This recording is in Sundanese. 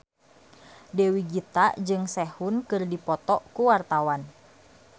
Dewi Gita jeung Sehun keur dipoto ku wartawan